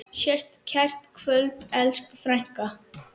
Sértu kært kvödd, elsku frænka.